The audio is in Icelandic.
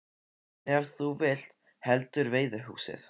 En ef þú vilt heldur veiðihúsið?